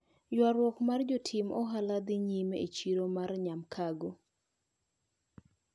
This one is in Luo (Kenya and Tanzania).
Ywaruok mar jotim ohala dhi nyime e chiro ma Nyamkago.